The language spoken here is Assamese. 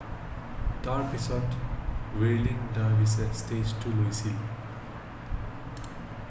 তাৰপাছত হুইৰ্লিং ডাৰভিৰ্ছে ষ্টেজটো লৈছিল৷